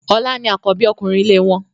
Ọlá ni àkọ́bí ọkùnrin ilé wọn.